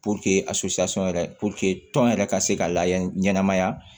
a yɛrɛ tɔn yɛrɛ ka se ka layɛ ɲɛnamaya